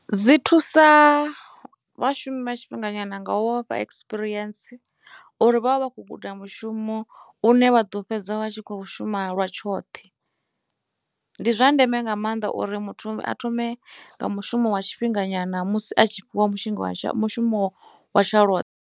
Dzi thusa vhashumi vha tshifhinga nyana nga u vha fha experience uri vha vha vha khou guda mushumo une vha ḓo fhedza vha tshi kho shuma lwa tshoṱhe ndi zwa ndeme nga maanḓa uri muthu a thome nga mushumo wa tshifhinga nyana musi a tshi fhiwa mushonga wa mushumo wa tsha lwoṱhe.